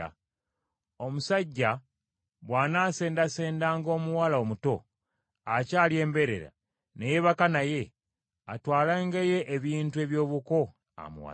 “Omusajja bw’anaasendasendanga omuwala omuto akyali embeerera, ne yeebaka naye, atwalengayo ebintu ebyobuko, amuwase.